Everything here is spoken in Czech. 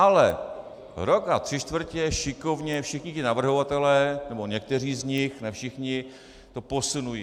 Ale rok a tři čtvrtě šikovně všichni ti navrhovatelé nebo někteří z nich, ne všichni, to posunují.